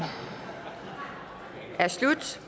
er slut